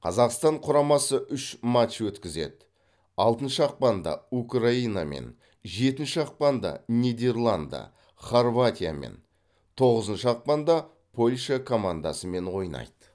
қазақстан құрамасы үш матч өткізеді алтыншы ақпанда украинамен жетінші ақпанда нидерланды хорватиямен тоғызыншы ақпанда польша командасымен ойнайды